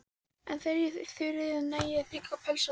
En þegar ég í Þuríði næ þigg ég pelsa fjóra.